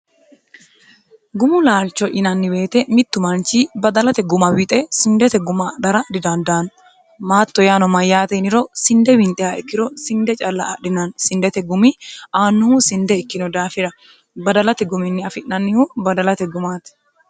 gumu laalcho yinanni beete mittu maanchi badalate guma wixe sindete guma adhara didandaanno maatto yaano mayyaateiniro sinde winxe ha ikkiro sinde calla adhinanni sindete gumi aannuhu sinde ikkino daafira badalate guminni afi'nannihu badalate gumaate